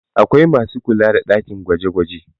Akwai masu kula da ɗakin gwaje -gwaje